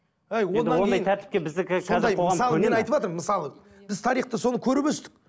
мысалы мен айтыватырмын мысалы біз тарихта соны көріп өстік